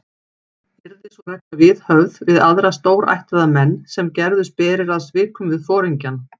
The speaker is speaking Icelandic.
Yrði sú regla viðhöfð við aðra stórættaða menn, sem gerðust berir að svikum við foringjann.